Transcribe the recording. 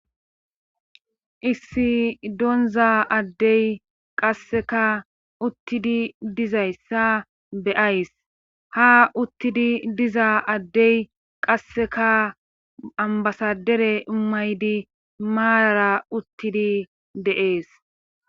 issi doonza addey qasseka uttidi dizayssa beyays ha uttidi diza addey qasseka ambasadere imaydi maaara uttidi deees